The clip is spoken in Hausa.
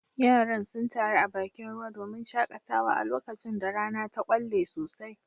Yaran sun taru a bakin ruwa domin shakatawa a lokacin da rana ta kwalle sosai